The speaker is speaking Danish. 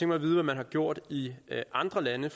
mig at vide hvad man har gjort i andre lande